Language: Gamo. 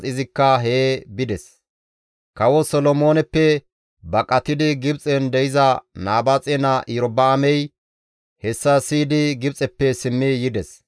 Kawo Solomooneppe baqatidi Gibxen de7iza Nabaaxe naa Iyorba7aamey hessa siyidi Gibxeppe simmi yides.